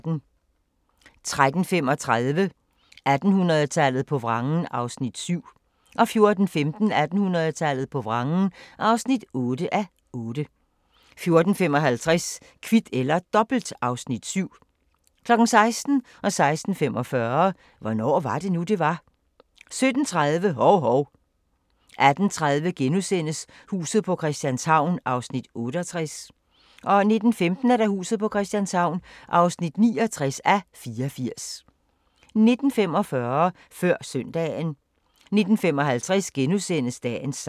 13:35: 1800-tallet på vrangen (7:8) 14:15: 1800-tallet på vrangen (8:8) 14:55: Kvit eller Dobbelt (Afs. 7) 16:00: Hvornår var det nu, det var? 16:45: Hvornår var det nu, det var? 17:30: Hov-Hov 18:30: Huset på Christianshavn (68:84)* 19:15: Huset på Christianshavn (69:84) 19:45: Før Søndagen 19:55: Dagens sang *